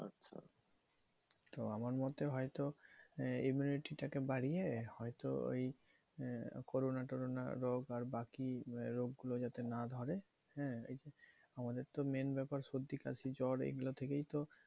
তো আমার মতে হয়তো immunity টা কে বাড়িয়ে হয়তো ওই আহ corona টোরোনা রোগ আর বাকি রোগগুলো যাতে না ধরে, হ্যাঁ? আমাদের তো main ব্যাপার সর্দি, কাশি, জ্বর এইগুলো থেকেই তো